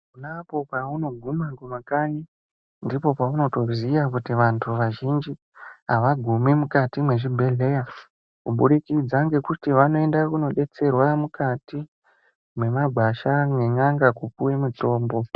Ponapo paunoguma kumakanyi ndipo paunotoziya kuti vantu vazhinji avagumi mukati mwezvibhedhleya kuburikidza ngekuti vanoenda kunodetserwa mukati mwemwagwasha nen'anga kupuwe mutombo.